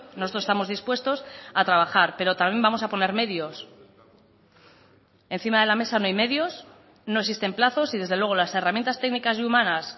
nosotros estamos dispuestos a trabajar pero también vamos a poner medios encima de la mesa no hay medios no existen plazos y desde luego las herramientas técnicas y humanas